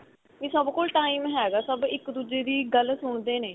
ਵੀ ਸਭ ਕੋਲ time ਹੈਗਾ ਸਭ ਇੱਕ ਦੂਜੇ ਦੀ ਗੱਲ ਸੁਣਦੇ ਨੇ